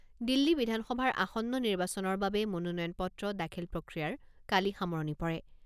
দিল্লী বিধানসভাৰ আসন্ন নিৰ্বাচনৰ বাবে মনোনয়ন পত্ৰ দাখিল প্ৰক্ৰিয়াৰ কালি সামৰণি পৰে।